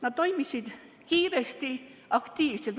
Nad toimisid kiiresti, aktiivselt.